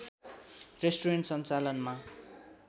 restaurant सञ्चालनमा